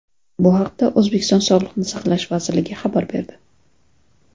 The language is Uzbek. Bu haqda O‘zbekiston Sog‘liqni saqlash vazirligi xabar berdi .